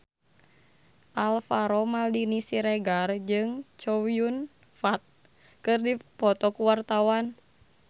Alvaro Maldini Siregar jeung Chow Yun Fat keur dipoto ku wartawan